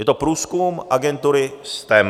Je to průzkum agentury STEM.